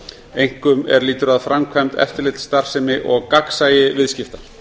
einkum er lýtur að framkvæmd eftirlitsstarfsemi og gagnsæi viðskipta